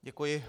Děkuji.